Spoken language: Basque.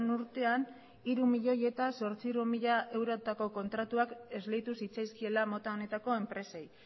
urtean hiru milioi zortziehun mila eurotako kontratuak esleitu zitzaizkiela mota honetako enpresei